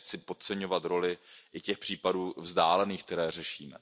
Tím nechci podceňovat roli i těch případů vzdálených, které řešíme.